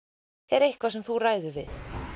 er eitthvað sem þú ræður við